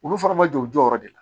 Olu fana ma jɔ u jɔyɔrɔ de la